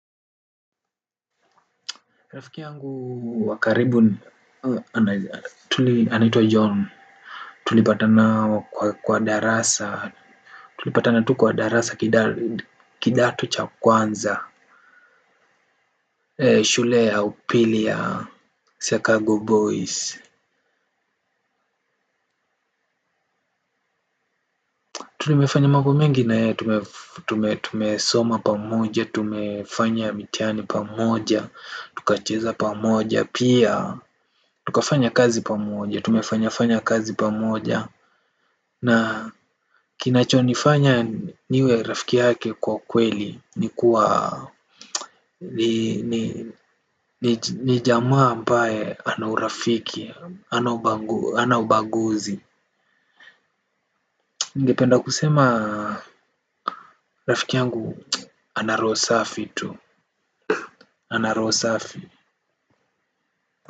Rafiki yangu wakaribu, anaitwa John, tulipatana kwa darasa, tulipatana tu kwa darasa kidato cha kwanza, shule ya upili ya Chicago Boys, tulimefanya mambo mengi na yeye tumesoma pamoja, tumefanya mitihani pamoja, tukacheza pamoja, pia, tukafanya kazi pamoja, tumefanya fanya kazi pamoja, na kinacho nifanya niwe rafiki yake kwa kweli kuwa nijamaa ambaye anaurafiki, hanaubaguzi. Nigependa kusema rafiki yangu anarohosafi tu. Anarohosafi.